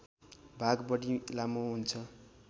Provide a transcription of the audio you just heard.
भाग बढी लामो हुन्छ